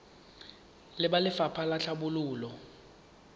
le ba lefapha la tlhabololo